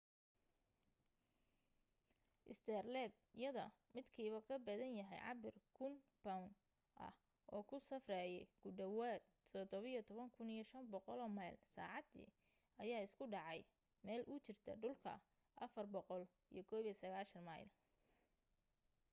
saterleed yada midkiiba kabadan yahay cabir 1,000 bownd ah oo ku safraye ku dhawaad 17,500 meyl saacadii ayaa isku dhacay meel u jirta dhulka 491 meyl